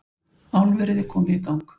Álverið komið í gang